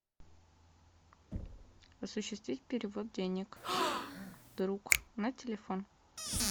осуществить перевод денег друг на телефон